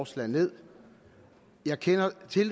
stemt ned